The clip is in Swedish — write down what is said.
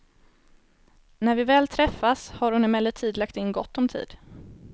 När vi väl träffas har hon emellertid lagt in gott om tid.